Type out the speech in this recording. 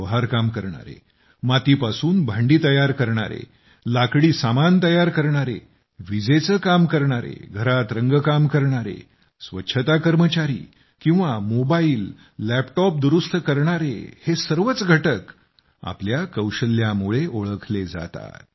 लोहारकाम करणारे मातीपासून भांडी तयार करणारे लाकडी सामान तयार करणारे विजेचे काम करणारे घरात रंगकाम करणारे स्वच्छता कर्मचारी किंवा मोबाईल लॅपटॉप दुरुस्त करणारे हे सर्वच घटक आपल्या कौशल्यामुळे ओळखले जातात